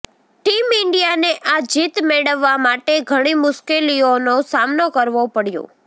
team ઇન્ડિયાને આ જીત મેળવવા માટે ઘણી મુશ્કેલીઓનો સામનો કરવો પડ્યો